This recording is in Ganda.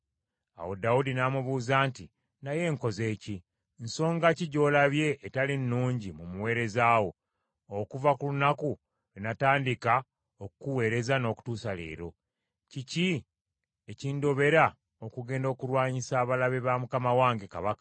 Awo Dawudi n’amubuuza nti, “Naye nkoze ki? Nsonga ki gy’olabye etali nnungi mu muweereza wo okuva ku lunaku lwe natandika okukuweereza n’okutuusa leero? Kiki ekindobera okugenda okulwanyisa abalabe ba mukama wange kabaka?”